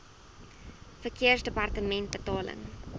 verkeersdepartementebetaling